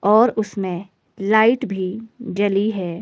और उसमें लाइट भी जली है।